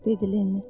dedi Lenni.